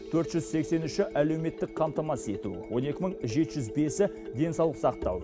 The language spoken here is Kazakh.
төрт жүз сексен үші әлеуметтік қамтамасыз ету он екі мың жеті жүз бесі денсаулық сақтау